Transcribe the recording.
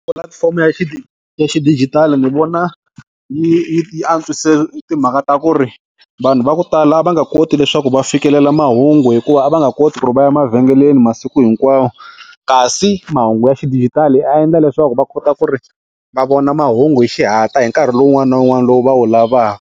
Pulatifomo ya ya xidijitali ni vona yi yi yi antswise timhaka ta ku ri vanhu va ku tala a va nga koti leswaku va fikelela mahungu hikuva a va nga koti ku ri va ya mavhengeleni masiku hinkwawo kasi mahungu ya xidijitali a endla leswaku va kota ku ri va vona mahungu hi xihatla hi nkarhi lowu wun'wana na wun'wana lowu va wu lavaka.